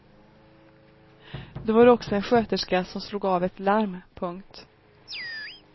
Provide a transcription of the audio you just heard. Då var det också en sköterska som slog av ett larm. punkt